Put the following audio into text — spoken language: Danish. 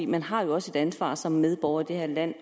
man har jo også et ansvar som medborger i det her land